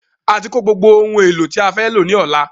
A ti kó gbogbo ohun èlò tí a fẹ́ lọ ní Ọ̀la